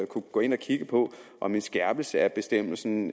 kunne gå ind og kigge på om en skærpelse af bestemmelsen